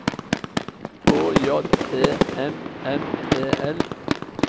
H J E M M E L